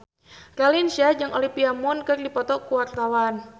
Raline Shah jeung Olivia Munn keur dipoto ku wartawan